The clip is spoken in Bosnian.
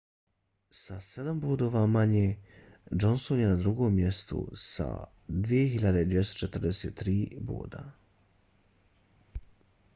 sa sedam bodova manje johnson je na drugom mjestu s 2.243 boda